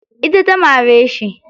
Ita ta mare shi.